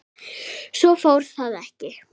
Svo fór þó ekki.